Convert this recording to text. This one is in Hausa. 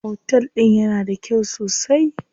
Otel din yana da kyau sosai?